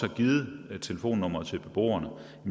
har givet telefonnummeret til beboerne